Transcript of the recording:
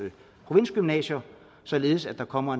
provinsgymnasier således at der kommer